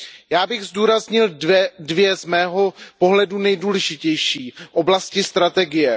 Já bych zdůraznil dvě z mého pohledu nejdůležitější oblasti strategie.